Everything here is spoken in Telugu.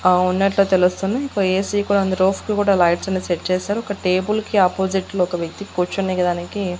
ఆ ఉన్నట్లు తెలుస్తుంది ఒక ఏ సీ కూడా ఉంది రోఫ్ కూడా లైట్స్ అన్ని సెట్ చేశారు ఒక టేబుల్ కి ఆపోజిట్ లో ఒక వ్యక్తి కూర్చునే దానికి.